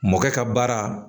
Mɔkɛ ka baara